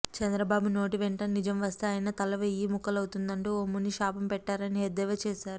చంద్ర బాబు నోటి వెంట నిజంవస్తే ఆయన తల వెయ్యి ముక్కలవుతుందంటూ ఓ ముని శాపం పెట్టారని ఎద్దేవా చేశారు